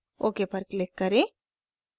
okपर click करें